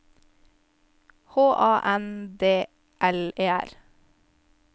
H A N D L E R